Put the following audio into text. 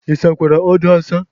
Ịsakwara odo a asa?